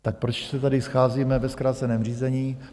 Tak proč se tady scházíme ve zkráceném řízení?